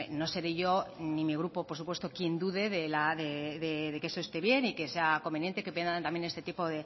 no seré yo ni mi grupo por supuesto quien dude de que eso esté bien y que sea conveniente que vendan este tipo